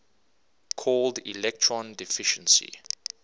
called electron deficiency